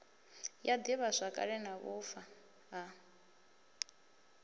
ya divhazwakale na vhufa ha